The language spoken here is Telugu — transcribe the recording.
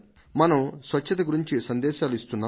మనం స్వచ్ఛత ను గురించిన సందేశాలను ఇస్తున్నాం